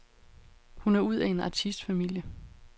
Hun er ud af en artistfamilie.